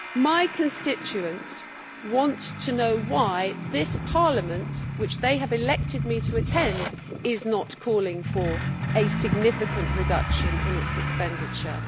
My constituents want to know why this Parliament, which they have elected me to attend, is not calling for a significant reduction in its expenditure.